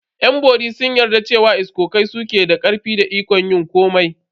Yan bori sun yarda cewa iskokai su ke da karfi da ikon yin komai.